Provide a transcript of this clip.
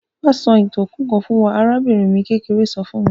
Wa sọ ìtàn òkú kan fún wa; arabìnrin mi kékeré so fun mi.